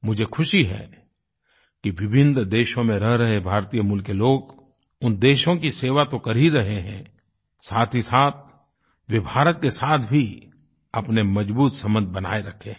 मुझे खुशी है कि विभिन्न देशों में रह रहे भारतीयमूल के लोग उन देशों की सेवा तो कर ही रहे हैं साथ ही साथ वे भारत के साथ भी अपने मजबूत संबंध बनाए रखे हैं